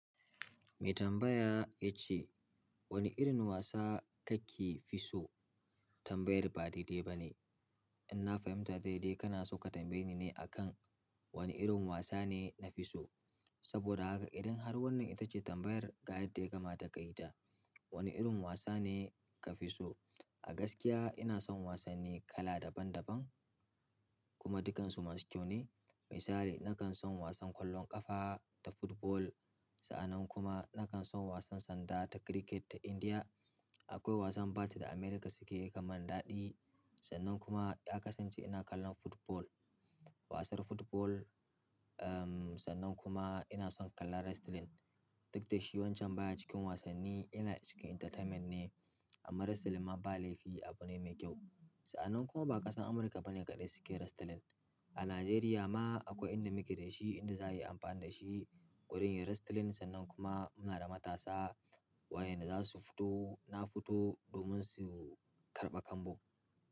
Mai tambaya ya ce wani irin wasa kake fi so? Tambayar ba daidai ba ne. In na fahimta daidai kana so ka tambaye ni ne akan wani irin wasa ne na fi so. Saboda haka idan har wannan ita ce tambayar ga yadda ya kamata ka yi ta, wani irin wasa ne ka fi so? A gaskiya ina son wasanni kala daban daban kuma dukansu masu kyau ne. Misali nakan son wasan ƙwallon ƙafa ta football. Sa'annan kuma nakan son wasan sanda ta cricket ta Indiya. Akwai wasan bat da Amurka suke yi yakan mun daɗi. Sannan kuma ya kasance ina kallon football. Wasar football, um, sannan kuma ina son kallon wrestling. Duk da shi wancan baya cikin wasanni yana cikin entertainment ne amma wrestling ma ba laifi abu ne mai kyau. Sa'annan kuma ba ƙasan Amurka bane kaɗai suke wrestling. A Najeriya ma akwai inda muke da shi, inda za a yi amfani da shi. Gurin yin wrestling sannan kuma muna da matasa wa'yanda za su fito, na fito domin su karɓa kambun.